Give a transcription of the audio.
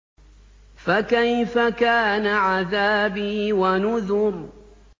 فَكَيْفَ كَانَ عَذَابِي وَنُذُرِ